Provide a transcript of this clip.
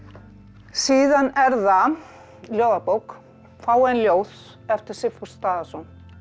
síðan er það ljóðabók fá ein ljóð eftir Sigfús Daðason